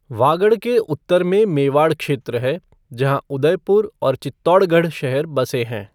वागड़ के उत्तर में मेवाड़ क्षेत्र है, जहाँ उदयपुर और चित्तौड़गढ़ शहर बसे हैं।